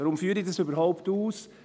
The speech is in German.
Weshalb führe ich dies überhaupt aus?